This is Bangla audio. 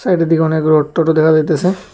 চারিদিকে অনেক রড টডও দেখা যাইতেছে।